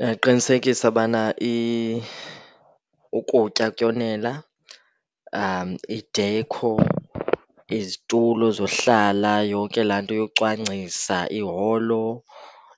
Uyaqinisekisa bana ukutya kuyonela, idekho, izitulo zohlala, yonke laa nto yocwangcisa iholo.